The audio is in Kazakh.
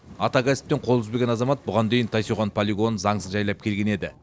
ата кәсіптен қол үзбеген азамат бұған дейін тайсойған полигонын заңсыз жайлап келген еді